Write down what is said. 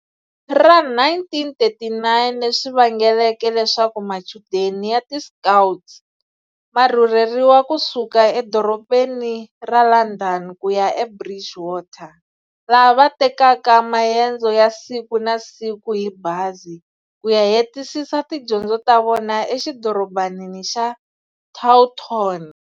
Ra 1939, leswi vangeleke leswaku machudeni ya ti Scouts, varhurheriwa kusuka edorobheni ra Landhani kuya eBridgewater, laha va takeke mayendzo ya siku na siku hi bhazi, kuya hetisisa tidyondzo ta vona e xidorobhaneni xa Taunton.